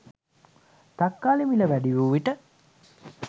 තක්කාලි මිල වැඩිවූ විට